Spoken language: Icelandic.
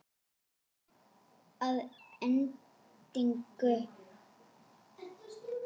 Að endingu